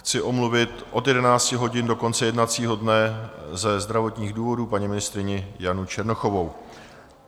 Chci omluvit od 11 hodin do konce jednacího dne ze zdravotních důvodů paní ministryni Janu Černochovou.